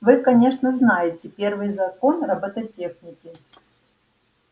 вы конечно знаете первый закон роботехники